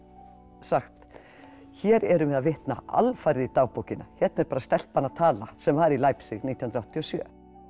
sagt hér erum við að vitna alfarið í dagbókina hérna er bara stelpan að tala sem var í Leipzig nítján hundruð áttatíu og sjö